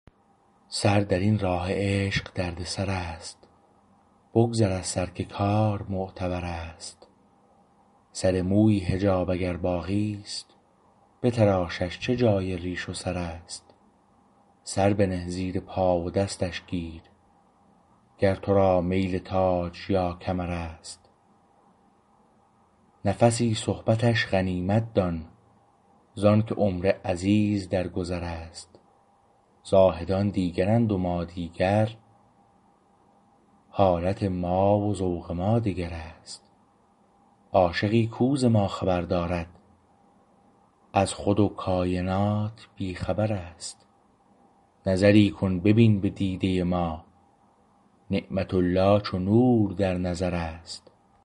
سر درین راه عشق دردسر است بگذر از سر که کار معتبر است سر مویی حجاب اگر باقی است بتراشش چه جای ریش و سرست سر بنه زیر پا و دستش گیر گر تو را میل تاج یا کمر است نفسی صحبتش غنیمت دان زانکه عمر عزیز در گذر است زاهدان دیگرند و ما دیگر حالت ما و ذوق ما دگر است عاشقی کو ز ما خبر دارد از خود و کاینات بی خبر است نظری کن ببین به دیده ما نعمت الله چو نور در نظر است